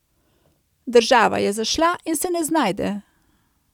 Država je zašla in se ne znajde.